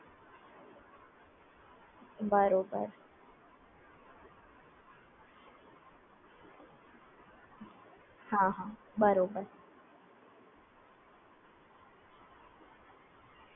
હા